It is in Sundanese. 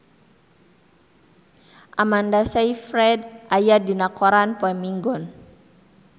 Amanda Sayfried aya dina koran poe Minggon